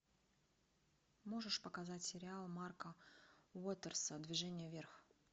можешь показать сериал марка уотерса движение вверх